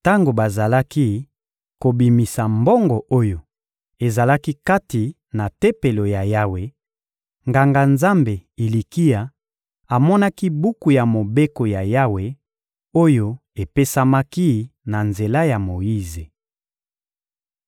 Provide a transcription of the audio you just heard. Tango bazalaki kobimisa mbongo oyo ezalaki kati na Tempelo ya Yawe, Nganga-Nzambe Ilikia amonaki buku ya Mobeko ya Yawe, oyo epesamaki na nzela ya Moyize.